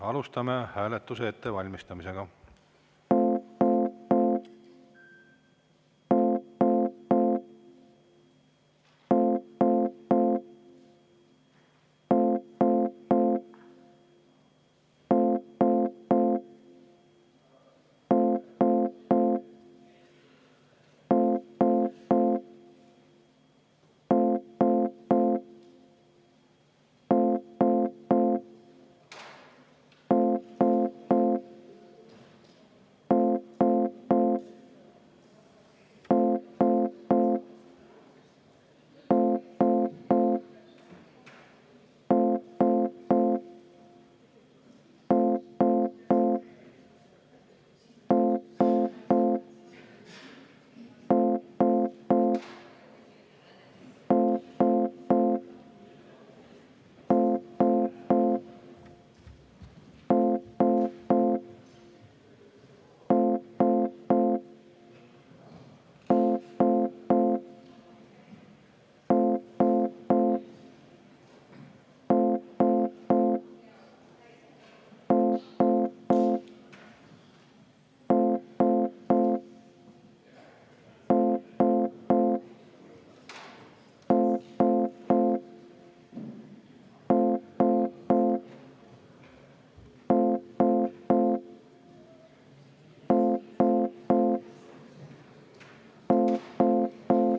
Alustame hääletuse ettevalmistamist.